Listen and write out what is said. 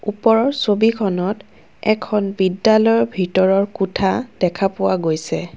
ওপৰৰ ছবিখনত এখন বিদ্যালয়ৰ ভিতৰৰ কোঠা দেখা পোৱা গৈছে।